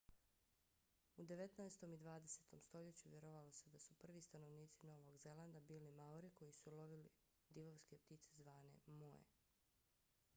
u devetnaestom i dvadesetom stoljeću vjerovalo se da su prvi stanovnici novog zelanda bili maori koji su lovili divovske ptice zvane moe